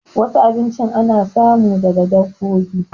Wasu abinchin ana samu daga dabbobi